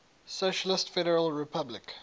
socialist federal republic